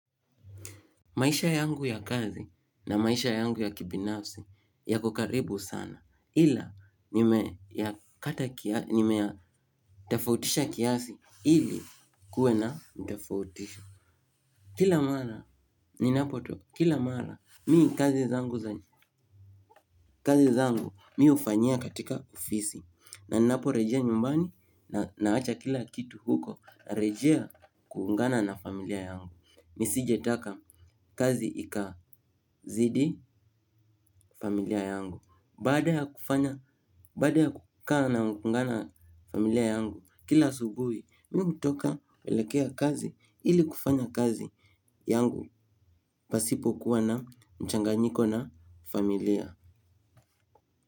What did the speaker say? Maisha yangu ya kazi na maisha yangu ya kibinafsi yakokaribu sana. Ila nime ya kata kiasi, nime ya tofautisha kiasi ili kuwe na utofauti. Kila mara, ni napo to, kila mara, mi kazi zangu za, kazi zangu mimi hufanyia katika ofisi. Ninaporejea nyumbani naacha kila kitu huko narejea kuungana na familia yangu. Nisijetaka kazi ikazidi familia yangu. Bada ya kufanya, baada ya kukaa na kuungana familia yangu kila asubuhi, mimi hutoka kuelekea kazi ili kufanya kazi yangu. Pasipo kuwa na mchanganyiko na familia.